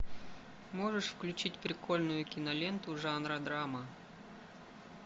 можешь включить прикольную киноленту жанра драма